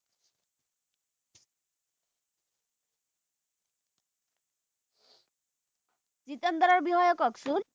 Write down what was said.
জিতেন্দ্ৰৰ বিষয়ে কওকচোন